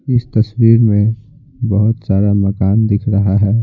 इस तस्वीर में बहुत सारा मकान दिख रहा है।